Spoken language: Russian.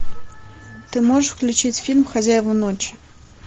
ты можешь включить фильм хозяева ночи